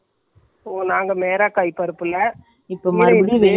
இங்க இருந்திங்களே dull ஆகிட்டு வருது நேத்து இந்த நேரத்துக்குத்தான் மழை வந்துச்சி.